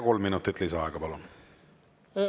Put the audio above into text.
Kolm minutit lisaaega, palun!